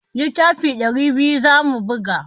Littafi ɗari biyu za mu buga.